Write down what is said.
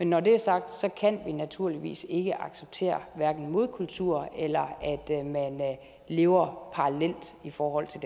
når det er sagt kan vi naturligvis ikke acceptere hverken modkultur eller at man lever parallelt i forhold til